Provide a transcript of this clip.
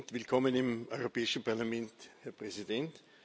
Willkommen im Europäischen Parlament, Herr Präsident!